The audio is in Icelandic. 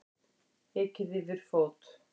Ekið yfir fót